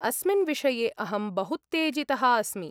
अस्मिन् विषये अहं बहूत्तेजितः अस्मि।